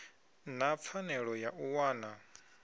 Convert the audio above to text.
na pfanelo ya u wana